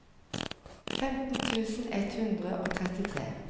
femten tusen ett hundre og trettitre